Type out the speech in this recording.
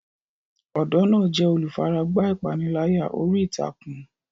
Ọ̀dọ́ náà jẹ́ olùfaragbá ìpániláyà orí ìtàkùn.